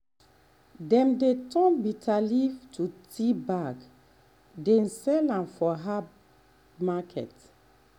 dem dey turn um bitterleaf to tea bag um dey um sell am for herb market.